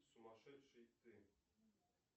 сумасшедший ты